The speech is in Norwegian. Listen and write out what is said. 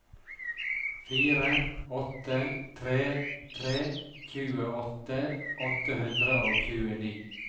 fire åtte tre tre tjueåtte åtte hundre og tjueni